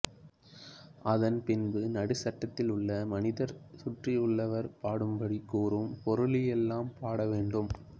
அதன்பின்பு நடுசட்டத்தில் உள்ள மனிதர் சுற்றியுள்ளவர் பாடும்படி கூறும் பொருளிளெல்லாம் பாட வேண்டும்